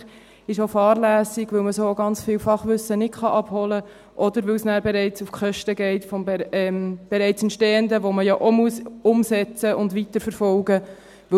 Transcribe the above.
Das ist auch fahrlässig, weil man so ganz viel Fachwissen nicht abholen kann, oder weil es nachher auf die Kosten vom bereits Entstehenden geht, das man ja auch umsetzen und weiterverfolgen muss.